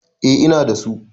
eh Ina da su